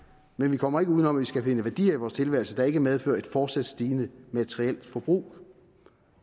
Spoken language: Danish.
men vi kommer ikke uden om at vi skal finde værdier i vores tilværelse der ikke medfører et fortsat stigende materielt forbrug